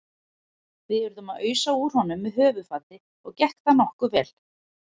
Við urðum að ausa úr honum með höfuðfati og gekk það nokkuð vel.